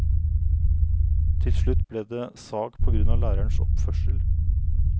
Til slutt ble det sak på grunn av lærerens oppførsel.